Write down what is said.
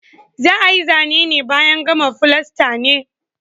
Za ayi Zane ne bayan gama fulasta ne